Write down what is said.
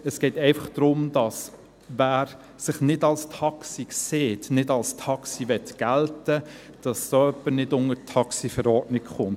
Es geht einfach darum, dass jemand, der sich nicht als Taxi sieht, nicht als Taxi gelten will, nicht unter die Verordnung über das Halten und Führen von Taxis (Taxiverordnung, TaxiV) fällt.